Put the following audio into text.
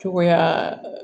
Cogoya